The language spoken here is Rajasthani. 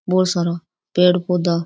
बोला सारा पेड़ पौधा --